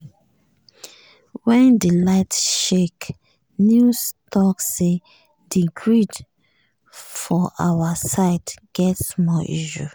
wen di light shake news talk say di grid for our side get small issue.